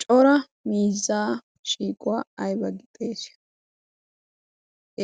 cora mizzaa shiiquwaa aiba gi xeesiyo?